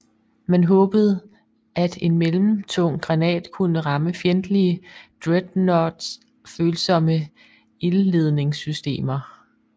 Man håbede at en mellem tung granat kunne ramme fjendtlige dreadnoughts følsomme ildledningssystemer